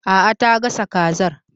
Aa, ta gasa kazar